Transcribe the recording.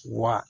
Wa